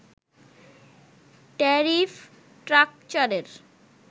tariff স্ট্রাকচারের